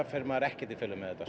fer maður ekkert í felur með þetta